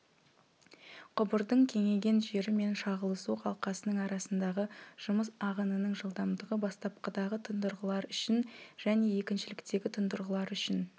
құбырдың кеңейген жері мен шағылысу қалқасының арасындағы жұмыс ағынының жылдамдығы бастапқыдағы тұндырғылар үшін және екіншіліктегі тұндырғылар үшін